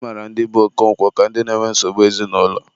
a mara ndị be Okonkwo ka ndị na-enwe nsogbu ezinaụlọ.